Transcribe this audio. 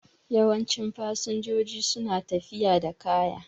Yawancin fasinjoji su na tafiya da kaya